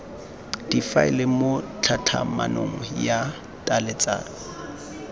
difaele mo tlhatlhamanong ya tlaleletso